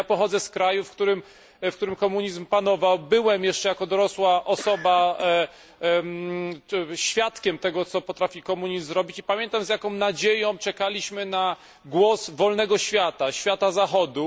Ja pochodzę z kraju, w którym komunizm panował, byłem jeszcze jako dorosła osoba świadkiem tego, co potrafi komunizm zrobić, i pamiętam z jaką nadzieją czekaliśmy na głos wolnego świata, świata Zachodu.